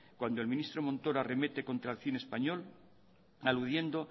cuando el ministro montoro arremete contra el cine español aludiendo